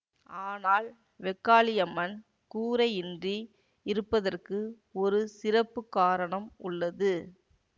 ஆனால் வெக்காளியம்மன் கூரையின்றி இருப்பதற்கு ஒரு சிறப்பு காரணம் உள்ளது